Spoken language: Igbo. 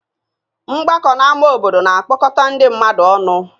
Mgbakọ n'ámá obodo na-akpọkọta ndị mmadụ ọnụ